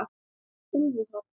Úlfur Hrafn.